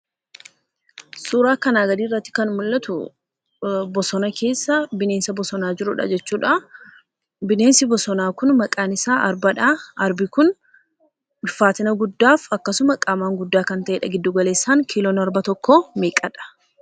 Suuraa kanaa gadiirratti kan mul'atu bosona keessa bineensa bosonaa jirudha jechuudha. Bineensi bosonaa kun maqaan isaa arbadha. Arbi kun ulfaatina guddaaf akkasuma qaamaan guddaa kan ta'edha. Giddugaleessaan kiiloon arba tokkoo meeqadha?